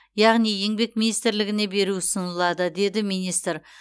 яғни еңбек министрлігіне беру ұсынылады деді министр